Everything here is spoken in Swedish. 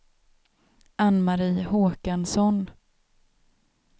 Anne-Marie Håkansson